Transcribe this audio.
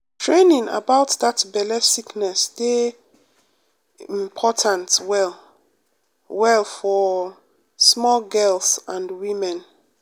training about that belle sickness dey um important well um well for um small girls and women.